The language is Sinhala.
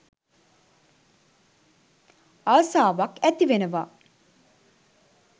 ආසාවක් ඇතිවෙනවා.